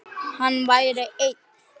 Hann væri einn.